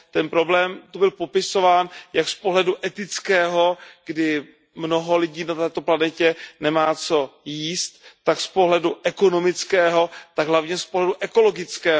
Ten problém tady byl popisován jak z pohledu etického, kdy mnoho lidí na této planetě nemá co jíst, tak z pohledu ekonomického, tak hlavně z pohledu ekologického.